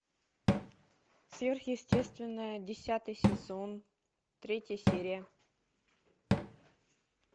сверхъестественное десятый сезон третья серия